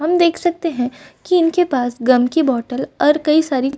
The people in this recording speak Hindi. हम देख सकते हैं कि उनके पास गम के बोटल और कई सारी --